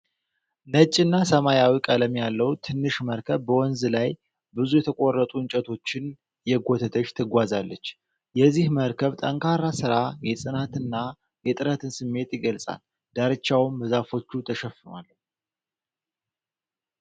ነጭና ሰማያዊ ቀለም ያለው ትንሽ መርከብ በወንዝ ላይ ብዙ የተቆረጡ እንጨቶችን እየጎተተች ትጓዛለች። የዚህ መርከብ ጠንካራ ሥራ የጽናትንና የጥረትን ስሜት ይገልጻል፤ ዳርቻውም በዛፎች ተሸፍኗል።